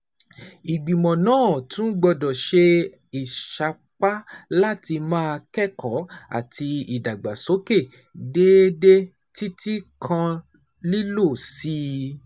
Ìgbìmọ̀ náà tún gbọ́dọ̀ ṣe ìsapá láti máa kẹ́kọ̀ọ́ àti ìdàgbàsókè déédéé, títí kan lílọ sí